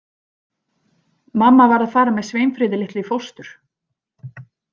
Mamma varð að fara með Sveinfríði litlu í fóstur.